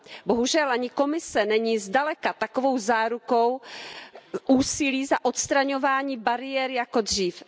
Bohužel ani Komise není zdaleka takovou zárukou úsilí za odstraňování bariér jako dřív.